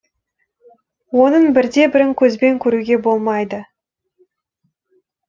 оның бір де бірін көзбен көруге болмайды